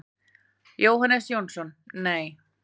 Jóhannes Jónsson: Nei.